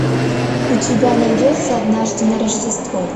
у тебя найдется однажды на рождество